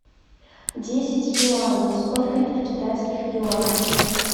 десять юаней сколько это в китайских юанях